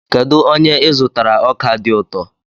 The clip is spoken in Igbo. Kedu onye ị zụtara ọka dị ụtọ?